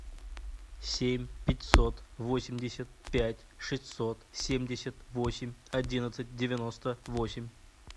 семь пятьсот восемьдесят пять шестьсот семьдесят восемь одиннадцать девяносто восемь